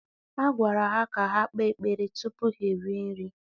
a gwara ha ka ha kpee ekpere tupu ha erie nri